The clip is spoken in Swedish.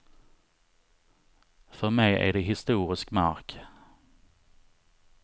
För mig är det historisk mark.